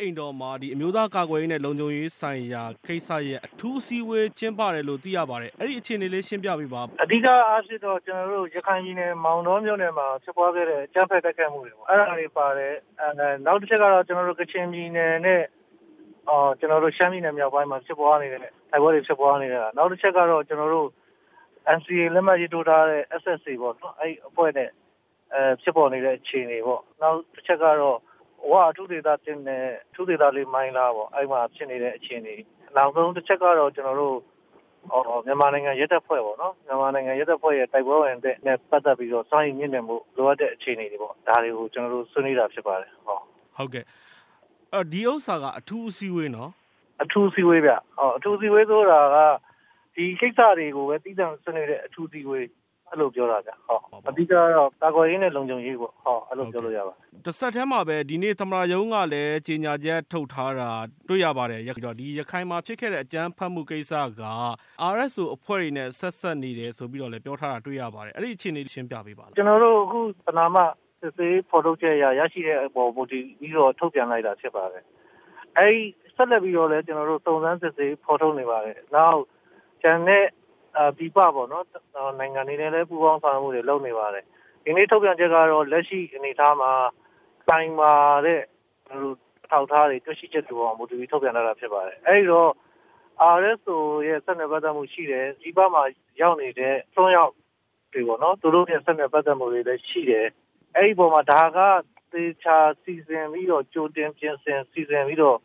အိမ်တော်မှာ အမျိုးသားကာကွယ်ရေး နဲ့ လုံခြုံရေးဆိုင်ရာ ကိစ္စရပ် အထူးအစည်းအဝေး ကျင်းပတယ်လို့သိရပါတယ်။ အဲ့ဒီ့အခြေအနေ ရှင်းပြပေးပါ။ အဓိက အားဖြင့်တော့ ရခိုင်ပြည်နယ် မောင်တောမြို့နယ်မှာ ဖြစ်ခဲ့တဲ့ အကြမ်းဖက်တိုက်ခိုက်မှုတွေပေါ့ အဲ့တာတွေ ပါတယ်။ နောက်တခုကတော့ ကချင်ပြည်နယ်နဲ့ ရှမ်းပြည်နယ်မြောက်ပိုင်းမှာ တိုက်ပွဲတွေဖြစ်ပွားနေတဲ့ ဟာ၊ နောက်တချက်ကတော့ NCA လက်မှတ်ရေးထိုးထားတဲ့ SSA ပေါ့နော်။ အဲ့ဒီ့အဖွဲ့နဲ့ဖြစ်ပေါ်နေတဲ့ အခြေအနေပေါ့။ နောက်တချက်ကတော့ ဝအထူးဒေသ နဲ့ အထူးဒေသ မိုင်းလားပေါ့ အဲ့ဒီ့မှာ ဖြစ်နေတဲ့ အခြေအနေတွေ။ နောက်ဆုံး တချက်ကတော့ မြန်မာနိုင်ငံ ရဲတပ်ဖွဲ့ပေါ့နော်။ မြန်မာနိုင်ငံ ရဲတပ်ဖွဲ့ဝင်တွေ တိုက်ပွဲ စွမ်းရည်မြှင့်တင်ဖို့ လိုအပ်တဲ့အခြေအနေတွေပေါ့။ ဒါတွေကို ကျနော်တို့ ဆွေးနွေးတာဖြစ်ပါတယ်။ အဲ့ဒီ့တော့ ဒီဥစ္စာက အထူးအစည်းအဝေးနော်။ အထူးအစည်းအဝေးဗျ။ အထူးအစည်းအဝေးဆိုတာ ဒီကိစ္စတွေကိုပဲ သီးသန့်ဆွေးနွေးတဲ့အထူးအစည်းအဝေး အဲ့လိုပြောတာခင်ဗျ။ အဓိက ကတော့ ကာကွယ်ရေးနဲ့ လုံခြုံရေးပေါ့။ အဲ့လိုပြောလို့ရပါတယ်။ တဆက်တည်းပါပဲ ဒီနေ့ သမ္မတရုံးက ကြေညာချက် ထုတ်ထားတာ တွေ့ရပါတယ်။ ရခိုင်မှာဖြစ်ခဲ့တဲ့ အကြမ်းဖက်မှုကိစ္စက RSO အဖွဲ့နဲ့ ဆက်စပ်နေတယ်ဆိုပြီး ပြောထားတာ တွေ့ရပါတယ်။ အဲ့ဒီ့အခြေအနေကိုလည်း ရှင်းပြပေးပါ။ ကျနော်တို့ အခု ပဏာမ စစ်ဆေးဖော်ထုတ်ချက်အရ ရရှိတဲ့အပေါ် မူတည်ပြီးတော့ ထုတ်ပြန်လိုက်တာဖြစ်ပါတယ်။ ဆက်လက်ပြီးတော့လည်း စုံစမ်းစစ်ဆေးဖော်ထုတ်နေပါတယ်။ ကျန်တဲ့ပြည်ပနိုင်ငံတွေနဲ့လည်း ပူးပေါင်းဆောင်ရွက်မှုတွေ လုပ်နေပါတယ်။ ဒီနေ့ထုတ်ပြန်ချက်ကတော့ လက်ရှိအနေအထားမှာ ခိုင်မာတဲ့ အထောက်အထားတွေ တွေ့ရှိချက်တွေအပေါ်မှာ မူတည်ပြီး ထုတ်ပြန်ထားတာဖြစ်ပါတယ်။ အဲ့ဒီ့တော့ RSO နဲ့ ဆက်နွယ် ပတ်သက်မှုရှိတယ်။ ပြည်ပမှာ ရောက်နေတဲ့ အစွမ်းရောက်တွေနဲ့ သူတို့တွေနဲ့လည်း ဆက်နွယ်ပတ်သက်မှုတွေရှိတယ်။ အဲ့ဒီ့အပေါ်မှာ ဒါက သေချာစီစဉ်ပြီးတော့ ကြိုတင်ပြင်ဆင်ပြီးတော့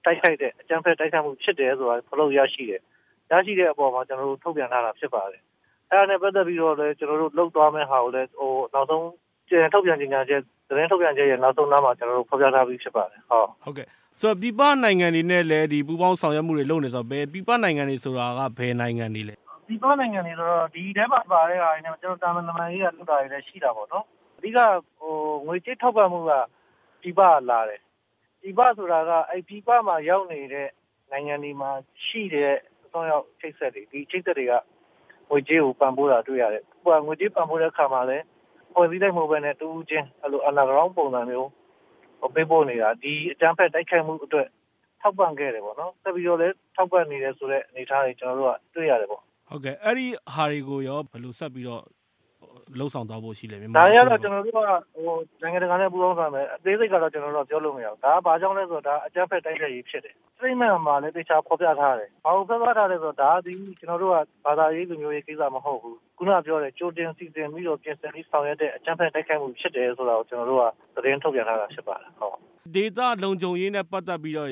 အကြမ်းဖက်တိုက်ခိုက်တဲ့ သဘောဖြစ်တယ် ဆိုတာ ဖော်ထုတ်ရရှိတယ်။ ရရှိတဲ့အပေါ်မှာ ကျနော်တို့ ထုတ်ပြန်တာဖြစ်ပါတယ်။ အဲ့တာနဲ့ပတ်သက်ပြီးတော့လည်း သတင်းထုတ်ပြန်ချက်ရဲ့ နောက်ဆုံးနားမှာ ကျနော်တို့ ဖော်ပြထားပြီးဖြစ်ပါတယ်။ ဆိုတော့ ပြည်ပနိုင်ငံတွေနဲ့လည်း ပူးပေါင်းဆောင်ရွက်မှုတွေ လုပ်နေတယ်ဆိုတော့ ဘယ်ပြည်ပနိုင်ငံတွေက ဘယ်နိုင်ငံတွေပါလဲ။ ပြည်ပနိုင်ငံတွေဆိုတာ ဒီထဲမှာ ပါတာက အဓိက ငွေကြေးထောက်ပံ့မှုက ပြည်ပက လာတယ်။ ပြည်ပ ဆိုတာက ပြည်ပမှာ ရောက်နေတဲ့ နိုင်ငံတွေမှာ ရှိတဲ့ အစွမ်းရောက် အချိတ်အဆက်တွေ ဒီအချိတ်အဆက်တွေက ငွေကြေးကို ပံ့ပိုးတာတွေ့ရတယ်။ ငွေကြေးပံ့ပိုးတဲ့အခါမှာလည်း အဖွဲ့အစည်းအလိုက်မဟုတ်ပဲ တဦးချင်း Under Ground ပုံစံမျိုး ပေးပို့နေတာ ဒီအကြမ်းဖက် တိုက်ခိုက်မှုအတွက် ထောက်ပံ့ခဲ့တယ်။ ဆက်ပြိးတော့လည်း ထောက်ပံ့နေတယ် ဆိုတဲ့အနေအထားတွေ ကျနော်တို့က တွေ့ရတယ်ပေါ့။ ဟုတ်ကဲ့ အဲ့တာတွေနဲ့ပတ်သက်ပြီးတော့ ဆက်ပြီးတော့ ဘယ်လိုလုပ်ဆောင်သွားဖို့ရှိပါသလဲ။ ဒါတွေကတော့ နိုင်ငံတကာနဲ့ပူးပေါင်းဆောင်ရွက်မယ်။ အသေးစိတ်ကတော့ ကျနော်တို့ ပြောလို့မရဘူး။ ဒါဟာ ဘာကြောင့်လဲဆိုတော့ အကြမ်းဖက်တိုက်ခိုက်ရေးဖြစ်တယ်။ ကြေညာချက်မှာလည်း ဒါကို သေချာဖော်ပြ ထားတယ်။ ဘာကိုဖော်ပြထားလဲဆိုတော့ ဒီကိစ္စက ဘာသာရေး၊ လူမျိုးရေး ကိစ္စမဟုတ်ဘူး။ ခုနကပြောတဲ့ ကြိုတင် စီစဉ်ပြီးတော့ ပြင်ဆင်ပြီးတော့ ဆောင်ရွက် တဲ့ အကြမ်းဖက် တိုက်ခိုက်မှုဖြစ်တယ်ဆိုတာ ကျနော်တို့က သတင်းထုတ်ပြန်ထားတာဖြစ်ပါတယ်။ ဒေသလုံခြုံရေးနဲ့ပတ်သက်ပြီးတော့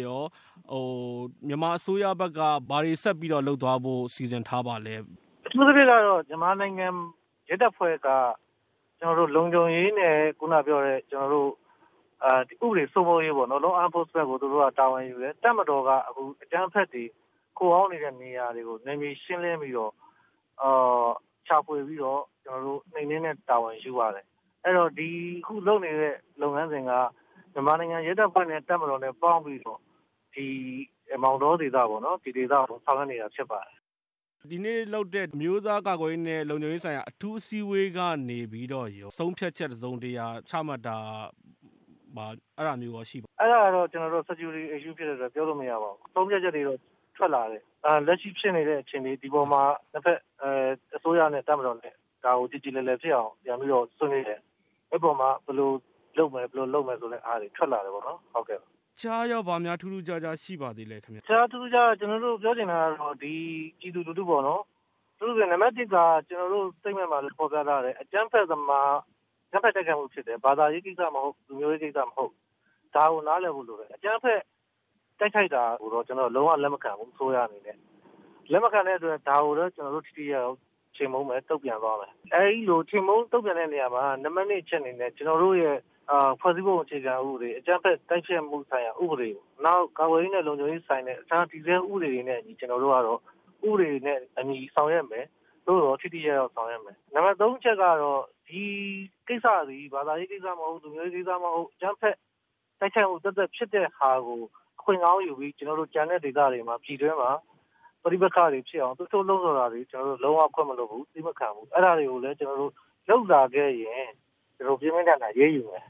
မြန်မာအစိုးရဘက်က ဘာတွေ ဆက်ပြီးတော့ လုပ်သွားဖို့ စီစဉ်ထားပါလဲ။ အထူးသဖြင့်ကတော့ မြန်မာနိုင်ငံ ရဲတပ်ဖွဲ့က လုံခြုံရေးနဲ့ ဥပဒေစိုးမိုးရေးပေါ့လေ။ အဲ့တာကို တာဝန်ယူတယ်။ တပ်မတော်က အကြမ်းဖက်တွေ ခိုအောင်းနေတဲ့နေရာတွေကို နယ်မြေရှင်းလင်း ရှာဖွေပြီးတော့ နှိမ်နှင်းတဲ့ တာဝန်ယူပါတယ်။ အဲ့တော့ အခုလုပ်နေတဲ့ လုပ်ငန်းစဉ်က မြန်မာနိုင်ငံ ရဲတပ်ဖွဲ့နဲ့ တပ်မတော်နဲ့ပေါင်းပြီးတော့ မောင်တောဒေသပေါ့။ ဒီဒေသကို ဆောင်ရွက်နေတာဖြစ်ပါတယ်။ ဒီနေ့လုပ်တဲ့ အမျိုးသားကာကွယ်ရေး နဲ့ လုံခြုံရေးဆိုင်ရာ အထူးအစည်းအဝေး ကနေပြီးတော့ရော ဆုံးဖြတ်ချက်တစုံတရာ ချမှတ်တာမျိုးရော ရှိပါလား။ အဲ့တာကတော့ လုံခြုံရေးကိစ္စဖြစ်တဲ့အတွက် ပြောလို့မရပါဘူး။ ဆုံးဖြတ်ချက်တွေတော့ ထွက်လာတယ်။ လက်ရှိဖြစ်နေတဲ့အခြေအနေ ဒီအပေါ်မှာ အစိုးရနဲ့တပ်မတော်နဲ့ ဒါကို ကြေကြေလည်လည်ဖြစ်အောင် ပြန်ပြီး ဆွေးနွေးတယ် အဲ့ဒီ့အပေါ်မှာ ဘယ်လိုလုပ်မယ် ဘယ်လိုလုပ်မယ်ဆိုပြီးတော့ ထွက်လာတယ်ပေါ့။ တခြားရော ဘာများထူးထူးခြားခြား ရှိပါသေးလဲခင်ဗျ။ တခြားထူးထူးခြားခြားကတော့ ကျနော်တို့ ပြောချင်တာ ကတော့ ပြည်သူလူထုပေါ့နော်။ အထူးသဖြင့် နံပတ်တစ်က ကျနော်တို့ကြေညာချက်မှာလည်း ဖော်ပြထားတယ်။ အကြမ်းဖက်သမားတွေရဲ့ အကြမ်းဖက်တိုက်ခိုက်မှုဖြစ်တယ်။ ဘာသာရေးကိစ္စမဟုတ်ဘူး။ လူမျိုးရေးကိစ္စမဟုတ်ဘူး ဒါကို နားလည်ဖို့လိုတယ်။ အကြမ်းဖက်တိုက်ခိုက်တာကို အစိုးရအနေနဲ့ ဒါကို လုံးဝ လက်မခံဘူး။ ဒါကိုတော့ ကျနော်တို့ ထိထိရောက်ရောက်ချေမှုန်းမယ်။ တုန့်ပြန်မယ်။ အဲ့သလို ချေမှုန်းတုန့်ပြန်တဲ့နေရာမှာ နံပတ်၂အချက်အနေနဲ့ ကျနော်တို့ရဲ့ ဖွဲ့စည်းပုံအခြေခံဥပဒေ ၊ အကြမ်းဖက် တိုက်ဖျက်မှု ဆိုင်ရာ ဥပဒေ နောက် ကာကွယ်ရေး နဲ့ လုံခြုံရေးနဲ့ဆိုင်တဲ့ အခြားတည်ဆဲဥပဒေတွေနဲ့ ဥပဒေနဲ့အညီ ကျနော်တို့ကတော့ ဆောင်ရွက်မယ်။ ထိထိရောက်ရောက်ဆောင်ရွက်မယ်။ နံပတ် ၃ အချက်ကတော့ ဒီကိစ္စသည် ဘာသာရေးကိစ္စမဟုတ် လူမျိုးရေး ကိစ္စမဟုတ် အကြမ်းဖက်တိုက်ခိုက်မှု သပ်သပ်ဖြစ်တဲ့ဟာကို အခွင့်ကောင်းယူပြီး ကျန်တဲ့ဒေသတွေမှာ ပြည်တွင်းမှာ ပဋိပက္ခတွေဖြစ်အောင် သွေးထိုးလှုံ့ဆော်တာတွေ ကျနော်တို့ လုံးဝ ခွင့်မလွှတ်ဘူး။ သီးမခံဘူး။ အဲ့တာတွေကို လုပ်လာခဲ့ရင် ကျနေ်ာတို့ ပြင်းပြင်းထန်ထန် အရေးယူမယ်